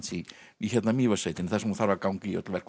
í Mývatnssveitinni þar sem hún þarf að ganga í öll verk og